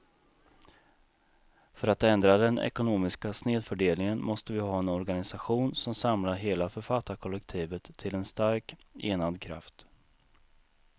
För att ändra den ekonomiska snedfördelningen måste vi ha en organisation som samlar hela författarkollektivet till en stark, enad kraft.